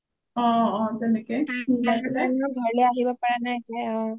তাই এনেও ঘৰলে আহিব পাৰা নাই তেনেকে